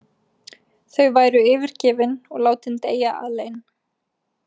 Þau væru yfirgefin og látin deyja alein.